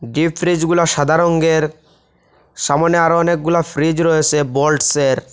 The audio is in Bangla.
ডিপ ফ্রিজগুলো সাদা রংয়ের সামনে আরও অনেকগুলা ফ্রিজ রয়েসে বোল্টসের।